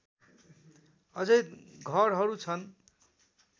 अझै घरहरू छन्